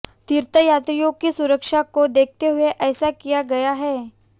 तीर्थयात्रियों की सुरक्षा को देखते हुये ऐसा किया गया है